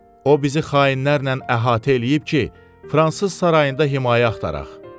O bizi xainlərlə əhatə eləyib ki, fransız sarayında himayə axtaraq.